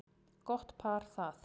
Gott par það.